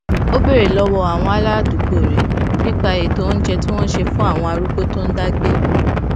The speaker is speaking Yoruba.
ó béèrè lówó àwọn aládùúgbò rè nípa ètò oúnjẹ tí wón ń ṣe fún àwọn arúgbó tó ń dá gbé